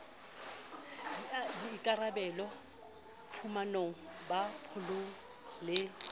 di ikarabella phumanong paballong le